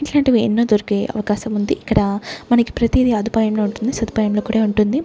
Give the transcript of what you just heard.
ఇట్లాంటివి ఎన్నో దొరికే అవకాశం ఉంది ఇక్కడ మనకి ప్రతిదీ అదుపాయం లో ఉంటుంది సదుపాయం లో కూడా ఉంటుంది.